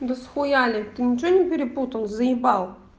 да схуяли ты ничего не перепутал заебал